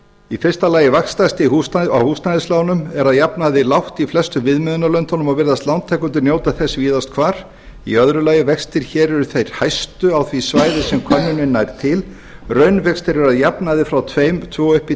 í fyrsta lagi að vaxtastig á húsnæðislánum er að jafnaði lágt í flestum viðmiðunarlöndunum og virðast lántakendur njóta þess víðast hvar í öðru lagi vextir hér eru þeir hæstu á því svæði sem könnunin nær til raunvextir eru að jafnaði frá tvö og